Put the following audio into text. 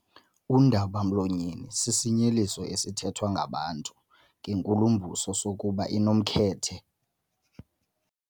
Undaba-mlonyeni sisinyeliso esithethwa ngabantu ngenkulumbuso sokuba inomkhethe.